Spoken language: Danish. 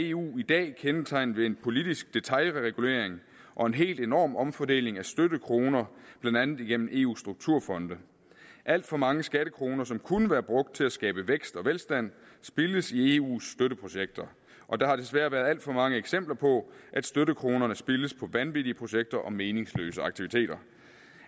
eu i dag kendetegnet ved en politisk detailregulering og en helt enorm omfordeling af støttekroner blandt andet igennem eus strukturfonde alt for mange skattekroner som kunne være brugt til at skabe vækst og velstand spildes i eus støtteprojekter og der har desværre været alt for mange eksempler på at støttekronerne spildes på vanvittige projekter og meningsløse aktiviteter